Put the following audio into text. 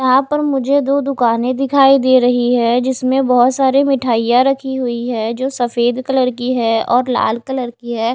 यहाँ पर मुझे दो दुकानें दिखाई दे रही है जिसमें बहुत सारे मिठाइयाँ रखी हुई है जो सफेद कलर की है और लाल कलर की है।